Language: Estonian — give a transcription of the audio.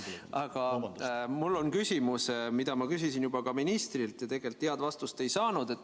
Aga mul on küsimus, mida ma küsisin ka ministrilt, kuid head vastust ei saanud.